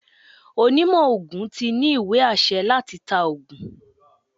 Onímo ogún tí ní íwe-ásẹ latÌ ta ọ̀gùn